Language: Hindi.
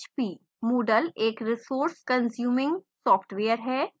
moodle एक resource कंज्युमिंग सॉफ्टवेयर है